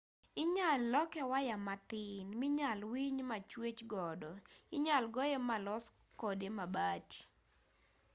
inyal loke waya mathin minyal winy machwech godo inyal goye malos kode mabati